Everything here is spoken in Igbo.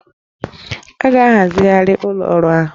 A ga-ahazigharị ụlọ ọrụ ahụ